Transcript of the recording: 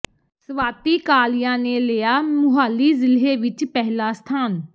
ਸਵਾਤੀ ਕਾਲੀਆ ਨੇ ਲਿਆ ਮੁਹਾਲੀ ਜ਼ਿਲ੍ਹੇ ਵਿੱਚ ਪਹਿਲਾ ਸਥਾਨ